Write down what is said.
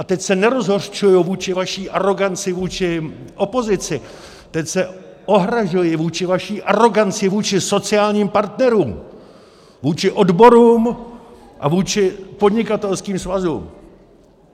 A teď se nerozhořčuji vůči vaší aroganci vůči opozici, teď se ohrazuji vůči vaší aroganci vůči sociálním partnerům, vůči odborům a vůči podnikatelským svazům!